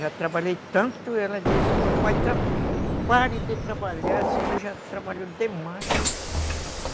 Já trabalhei tanto, ela disse, papai, pare de trabalhar, o senhor já trabalhou demais.